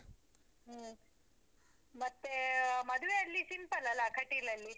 ಹ್ಮ್ ಮತ್ತೇ, ಮದ್ವೆ ಅಲ್ಲಿ simple ಅಲ್ಲಾ ಕಟೀಲಲ್ಲಿ?